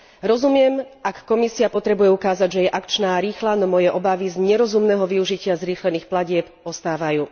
Rozumiem, ak Komisia potrebuje ukázať, že je akčná a rýchla, no moje obavy z nerozumného využitia zrýchlených platieb ostávajú.